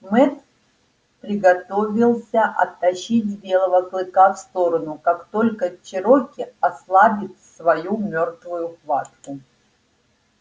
мэтт приготовился оттащить белого клыка в сторону как только чероки ослабит свою мёртвую хватку